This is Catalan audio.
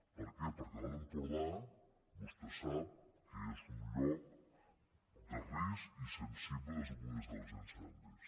per què perquè l’alt empordà vostè sap que és un lloc de risc i sensible des del punt de vista dels incendis